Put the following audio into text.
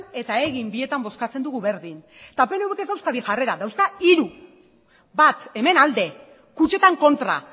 eta egin bietan bozkatzen dugu berdin eta pnvk ez dauzka bi jarrera dauzka hiru bat hemen alde kutxetan kontra